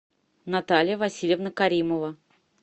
наталья васильевна каримова